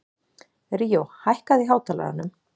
Ríó, hækkaðu í hátalaranum.